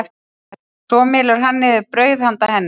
Svo mylur hann niður brauð handa henni.